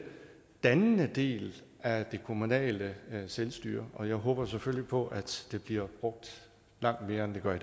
dannende del af det kommunale selvstyre og jeg håber selvfølgelig på at det bliver brugt langt mere end det gør